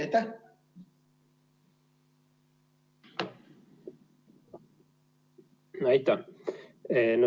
Aitäh!